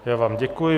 Já vám děkuji.